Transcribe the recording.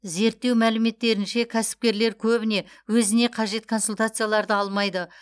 зерттеу мәліметтерінше кәсіпкерлер көбіне өзіне қажет консультацияларды алмайды